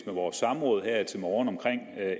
vores samråd her til morgen om